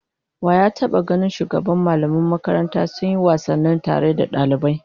Wa ya taba ganin shugaban mallaman makaranta sun yi wasanni tare da dalibai?